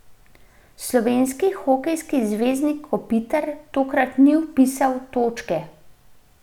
Slovenski hokejski zvezdnik Kopitar tokrat ni vpisal točke.